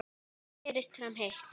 Berist fram heitt.